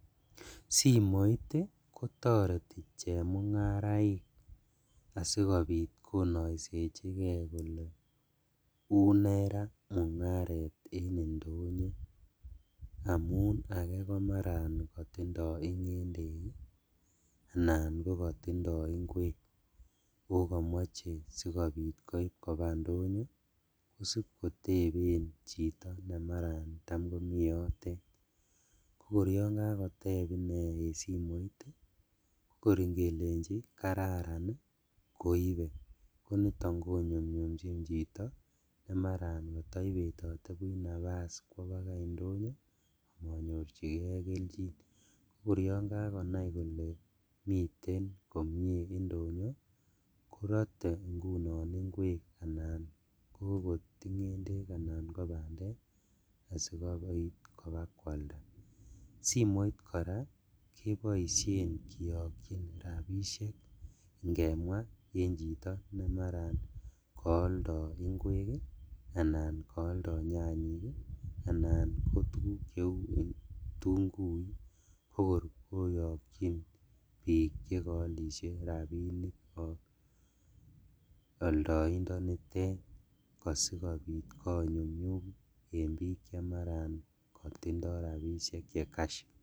simoit ih kotareti chemung'ung'araek asikobit konaisechike kole uune ra mung'aret en indonyo amuun age komatkatinye ng'endek anan katinye inguek. Kokemache sikobit koib kaba ndonyo . Kosibkoteben chito mara tam komi yotet. Ko kor Yoon kakoteb ine en simoit ih , kor ingeleche kararan koibe konito inyumnyumchin chit maibetate buch nafas kwo baga indonyo komanyorchige kelchin. Kor Yoon kagonai kole miten komie indonyo korate ingunon inguek kot ng'endek anan ko bandek asikobokoit koalda. Simoit kora keboisien kianchin rabisiek ngemwa en chito nemaran kaaldo inguek ih anan kaalda nyanyek kotokor koyakyin bik chekaalishe rabinik ak aldantenitet asiko nyumnyum en chekatinye rabisiek che kash